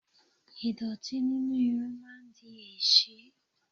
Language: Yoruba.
Ìdọ̀tí nínú irun máa ń di èéṣí.